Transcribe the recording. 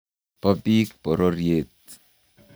bo biik bororiet